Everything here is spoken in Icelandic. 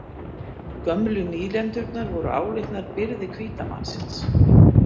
Gömlu nýlendurnar voru álitnar „byrði hvíta mannsins“